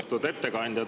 Austatud ettekandja!